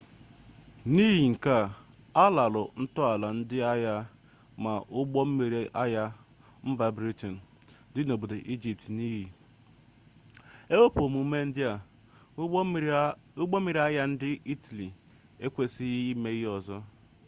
n'ihi nke a ha lara ntọala ndị agha ma ụgbọ mmiri agha mba briten dị n'obodo ijipt n'iyi ewepụ omume ndị a ụgbọ mmiri agha ndị itali ekwesịghị ime ihe ọzọ